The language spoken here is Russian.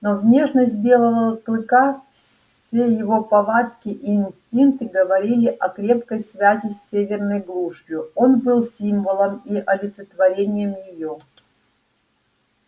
но внешность белого клыка все его повадки и инстинкты говорили о крепкой связи с северной глушью он был символом и олицетворением её